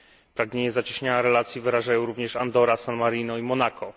Pragnienie zacieśnienia relacji wyrażają również Andora, San Marino i Monako.